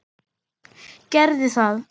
Gerðu það!